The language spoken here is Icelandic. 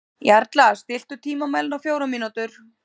Jarla, stilltu tímamælinn á fjórar mínútur.